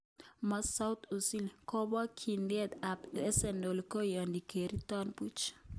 Masut Ozil:kobokyidet ab Arsenal koyoni kerirtoen buch